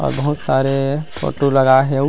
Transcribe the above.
अउ बहुत सरे फोटो लगाए हे अउ--